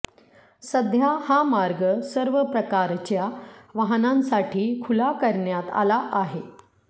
सध्या हा मार्ग सर्व प्रकारच्या वाहनांसाठी खुला करण्यात आला आहे